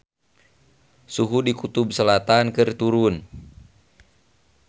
Suhu di Kutub Selatan keur turun